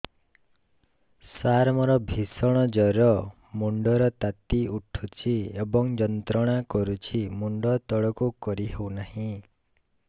ସାର ମୋର ଭୀଷଣ ଜ୍ଵର ମୁଣ୍ଡ ର ତାତି ଉଠୁଛି ଏବଂ ଯନ୍ତ୍ରଣା କରୁଛି ମୁଣ୍ଡ ତଳକୁ କରି ହେଉନାହିଁ